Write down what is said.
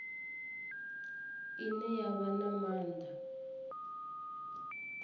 ine ya vha na maanḓa